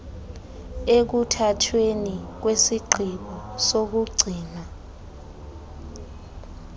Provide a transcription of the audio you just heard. ekuthathweni kwesigqibo sokugcinwa